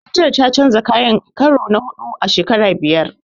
Makarantar ta canja kayan karo na huɗu a shekara biyar.